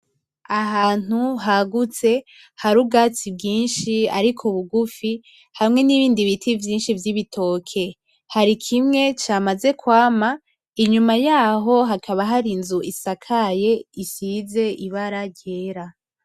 Ahantu hagutse hari ubwatsi bwinshi ariko bugufi hamwe nibindi biti vyinshi vy'ibitoke, hari kimwe camaze kwama inyuma yaho hakaba hari inzu isakaye isize ibara ryera.